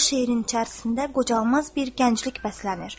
O şeirin içərisində qocalmaz bir gənclik bəslənir.